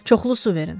Çoxlu su verin.